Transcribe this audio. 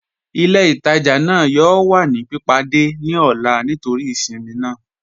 Ilẹ̀-itajà naa yọọ̀ wà ni pípádẹ̀ ni ọlá nítorí ìṣinmí naa.